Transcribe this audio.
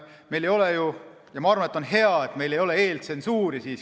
Ma arvan, et on hea, et meil ei ole meedias eeltsensuuri.